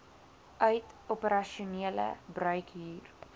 uit operasionele bruikhuur